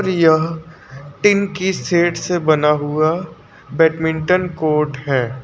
यह टीन की सेट से बना हुआ बैडमिंटन कोर्ट है।